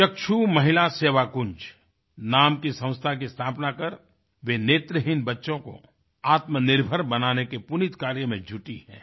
चक्षु महिला सेवाकुन्ज नाम की संस्था की स्थापना कर वे नेत्रहीन बच्चों को आत्मनिर्भर बनाने के पुनीत कार्य में जुटी हैं